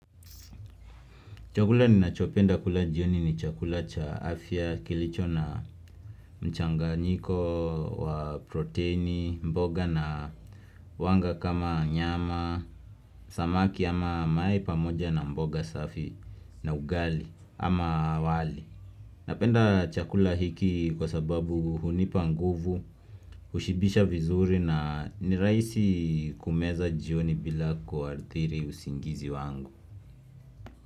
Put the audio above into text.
Chakula ni nachopenda kula jioni ni chakula cha afya kilicho na mchanga njiko wa proteini, mboga na wanga kama nyama, samaki ama mae pamoja na mboga safi na ugali ama wali. Napenda chakula hiki kwa sababu hunipa nguvu, ushibisha vizuri na niraisi kumeza jioni bila kuarthiri usingizi wangu.